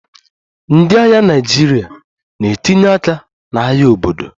Ndị agha Naịjirịa na-etinye aka n'agha obodo